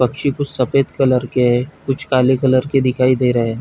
पक्षी कुछ सफेद कलर के कुछ काले कलर के दिखाई दे रहे है।